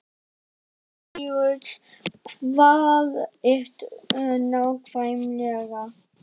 Jón Júlíus, hvar ertu nákvæmlega?